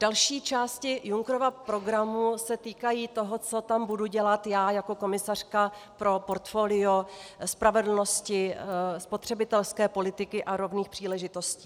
Další části Junckerova programu se týkají toho, co tam budu dělat já jako komisařka pro portfolio spravedlnosti, spotřebitelské politiky a rovných příležitostí.